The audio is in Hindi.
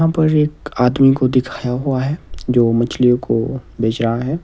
यहां पर एक आदमी को दिखाया हुआ है जो मछलियों को बेच रहा है।